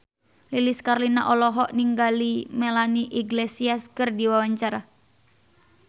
Lilis Karlina olohok ningali Melanie Iglesias keur diwawancara